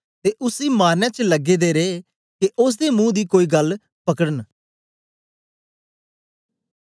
ते उसी मारने च लगे दे रहे के ओसदे मुंह दी कोई गल्ल पकडन